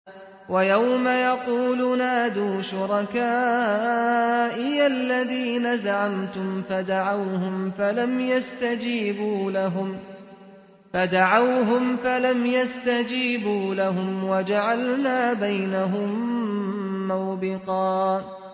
وَيَوْمَ يَقُولُ نَادُوا شُرَكَائِيَ الَّذِينَ زَعَمْتُمْ فَدَعَوْهُمْ فَلَمْ يَسْتَجِيبُوا لَهُمْ وَجَعَلْنَا بَيْنَهُم مَّوْبِقًا